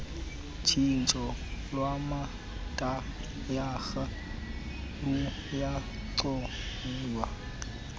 tshintsho lwamatayara luyancoywa